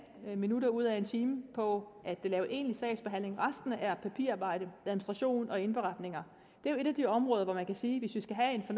minutter ud af en time på at lave egentlig sagsbehandling resten er papirarbejde administration og indberetninger det er jo et af de områder hvor man kan sige